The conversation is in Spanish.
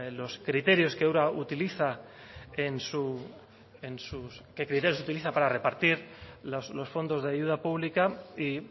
los criterios que ura utiliza para repartir los fondos de ayuda pública y